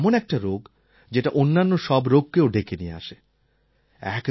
diabetes এমন একটা রোগ যেটা অন্যান্য সব রোগকেও ডেকে নিয়ে আসে